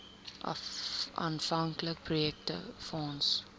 aanvanklike projek befonds